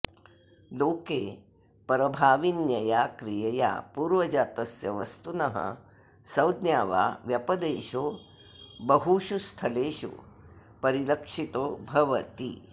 लोके परभाविन्यया क्रियया पूर्वजातस्य वस्तुनः संज्ञा वा व्यपदेशो बहुषु स्थलेषु परिलक्षितो भवति